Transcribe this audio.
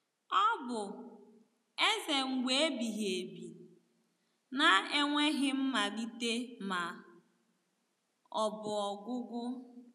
Ọ bụ“ Eze mgbe ebighị ebi ”— na e nweghị mmalite ma ọ bụ ọgwụgwụ.